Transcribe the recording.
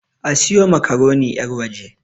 A siyo makaroni yarwaje!